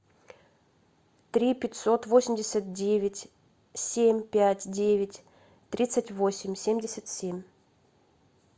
три пятьсот восемьдесят девять семь пять девять тридцать восемь семьдесят семь